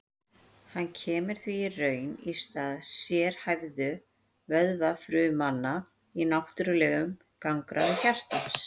hann kemur því í raun í stað sérhæfðu vöðvafrumanna í náttúrlegum gangráði hjartans